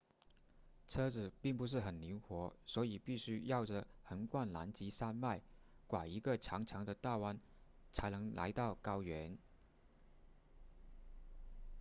车子并不是很灵活所以必须绕着横贯南极山脉拐一个长长的的大弯才能来到高原